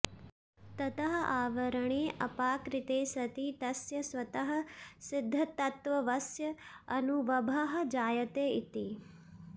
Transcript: ततः आवरणे अपाकृते सति तस्य स्वतःसिद्धतत्त्वस्य अनुवभः जायते इति